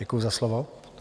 Děkuji za slovo.